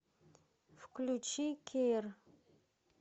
включи кеир